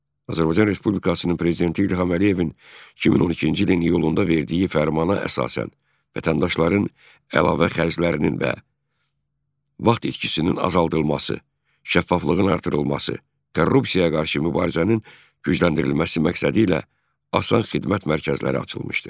Azərbaycan Respublikasının Prezidenti İlham Əliyevin 2012-ci ilin iyulunda verdiyi Fərmana əsasən, vətəndaşların əlavə xərclərinin və vaxt itkisinin azaldılması, şəffaflığın artırılması, korrupsiyaya qarşı mübarizənin gücləndirilməsi məqsədilə ASAN Xidmət mərkəzləri açılmışdır.